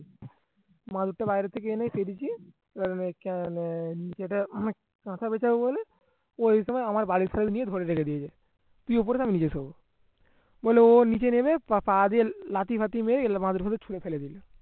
বাহির থেকে এনেই দিছি বলে ওই সময় আমার বাড়ির বললো ও নিচে নেমে লাঠি এগুলা